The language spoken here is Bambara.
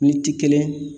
Ni ti kelen